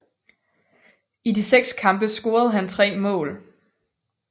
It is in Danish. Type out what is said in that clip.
I de seks kampe scorede han tre mål